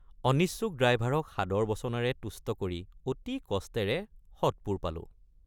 অনিচ্ছুক ড্ৰাইভাৰক সাদৰ বচনেৰে তুষ্ট কৰি অতি কষ্টেৰে সৎপুৰ পালোঁ।